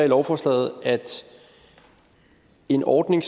lovforslaget at en ordning